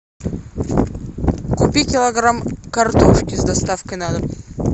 купи килограмм картошки с доставкой на дом